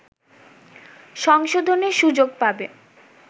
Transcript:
সংশোধনের সুযোগ পাবে